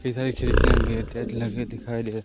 इधर खिड़कियां गेट वेट लगे हुए दिखाई दे--